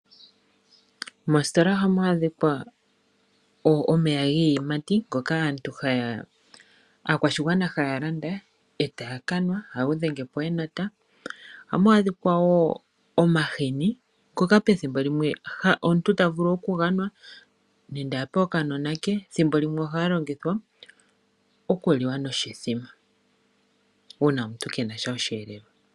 Moositola oha mu adhika omeya giiyimati ngoka aakwashigwana ha ya landa, ee taya kanwa. Oha ga dhenge po woo enota. Oha mu adhika woo omahini, ngoka pethimbo limwe omuntu ta vulu okuga nwa nenge ape okanona ke, thimbo limwe oha ga longithwa okuliwa noshithima uuna omuntu ke nasha oshivelelwa.